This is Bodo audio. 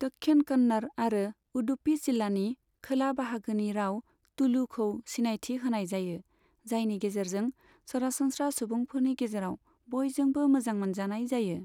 दक्षिण कन्नड़ आरो उडुपी जिल्लानि खोला बाहागोनि राव, तुलुखौ सिनायथि होनाय जायो, जायनि गेजेरजों सरासनस्रा सुबुंफोरनि गेजेराव बयजोंबो मोजां मोनजानाय जायो।